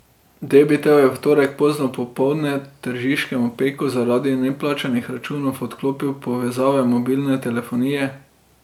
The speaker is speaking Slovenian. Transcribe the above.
Debitel je v torek pozno popoldne tržiškemu Peku zaradi neplačanih računov odklopil povezave mobilne telefonije.